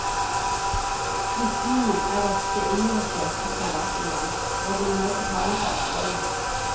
Flyktningene er ofte innlosjert i private hjem, hvor de må betale for oppholdet.